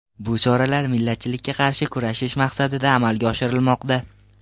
Bu choralar millatchilikka qarshi kurashish maqsadida amalga oshirilmoqda.